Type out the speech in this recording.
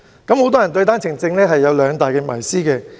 很多人對單程證有兩大謎思。